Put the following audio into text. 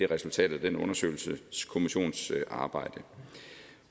resultatet af den undersøgelseskommissions arbejde